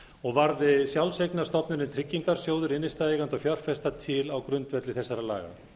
og varð sjálfseignarstofnunin tryggingarsjóður innstæðueigenda og fjárfesta til á grundvelli þessara laga